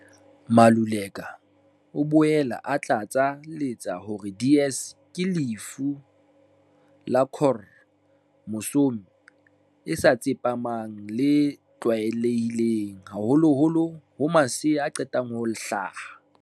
Maluleka o boela a tlatsa letsa hore DS ke lefu la khro mosome e sa tsepamang le tlwaelehileng haholoholo ho masea a qetang ho hlaha.